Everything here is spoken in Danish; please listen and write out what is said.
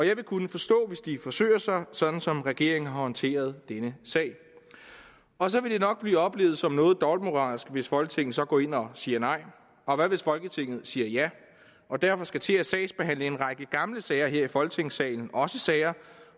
jeg vil kunne forstå hvis de forsøger sig sådan som regeringen har håndteret denne sag og så vil det nok blive oplevet som noget dobbeltmoralsk hvis folketinget så går ind og siger nej og hvad hvis folketinget siger ja og derfor skal til at sagsbehandle en række gamle sager her i folketingssalen også sager